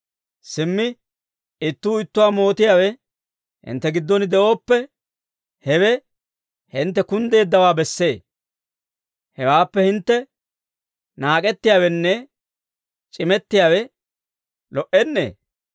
Simmi ittuu ittuwaa mootiyaawe hintte giddon de'ooppe, hewe hintte kunddeeddawaa bessee. Hewaappe hintte naak'ettiyaawenne c'imettiyaawe lo"ennee?